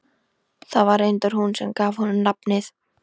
Það var reyndar hún sem gaf honum nafnið.